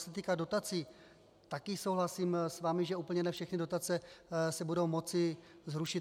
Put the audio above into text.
Co se týká dotací, taky souhlasím s vámi, že ne úplně všechny dotace se budou moci zrušit.